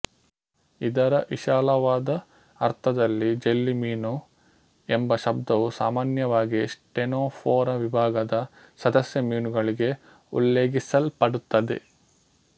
ಇದರ ವಿಶಾಲವಾದ ಅರ್ಥದಲ್ಲಿ ಜೆಲ್ಲಿ ಮೀನು ಎಂಬ ಶಬ್ದವು ಸಾಮಾನ್ಯವಾಗಿ ಸ್ಟೆನೊಫೊರಾ ವಿಭಾಗದ ಸದಸ್ಯ ಮೀನುಗಳಿಗೆ ಉಲ್ಲೇಖಿಸಲ್ಪಡುತ್ತದೆ